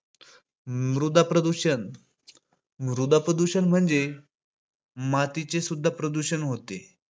मृदा प्रदूषण. म्हणजे मातीचे सुद्धा प्रदूषण होते.